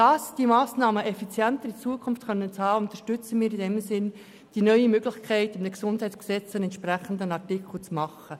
Damit diese Massnahmen künftig effizienter greifen, unterstützen wir die neue Möglichkeit, im GesG einen entsprechenden Artikel aufzunehmen.